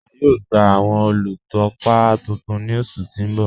A yóò gba awọn olútọ́pá tuntun ní ọṣù tí n bọ̀.